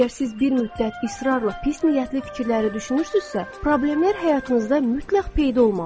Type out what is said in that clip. Əgər siz bir müddət israrla pis niyyətli fikirləri düşünürsünüzsə, problemlər həyatınızda mütləq peyda olmalıdır.